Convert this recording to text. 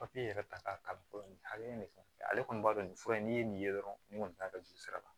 Papiye yɛrɛ ta k'a kalan fɔlɔ nin hakɛ in de fɛ ale kɔni b'a dɔn nin fura in n'i ye nin ye dɔrɔn ni kɔni t'a dɔn juru sira la